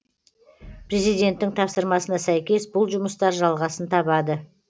президенттің тапсырмасына сәйкес бұл жұмыстар жалғасын табады